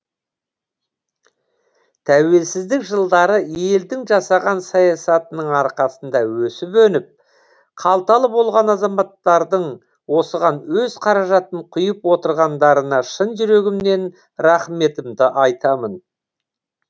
тәуелсіздік жылдары елдің жасаған саясатының арқасында өсіп өніп қалталы болған азаматтардың осыған өз қаражатын құйып отырғандарына шын жүрегімнен рахметімді айтамын